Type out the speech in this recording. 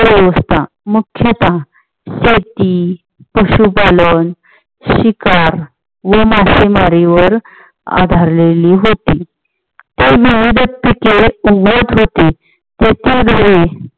मुख्यतः शेती, पशुपालन, शिकार व मासेमारीवर आधारलेली होती. ते विविध